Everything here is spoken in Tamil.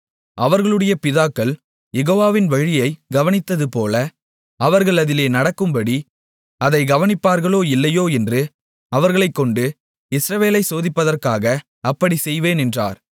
அவர்களுடைய பிதாக்கள் யெகோவாவின் வழியைக் கவனித்ததுபோல அவர்கள் அதிலே நடக்கும்படி அதைக் கவனிப்பார்களோ இல்லையோ என்று அவர்களைக்கொண்டு இஸ்ரவேலை சோதிப்பதற்காக அப்படிச் செய்வேன் என்றார்